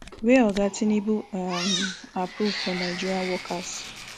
wey oga tinubu um approve for nigerian workers